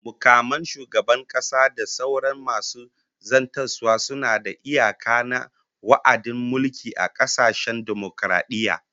Mukaman shugaban kasa da sauran masu zartaswa suna da iyaka na wa'adin mulki a kasashen dimokaradiyya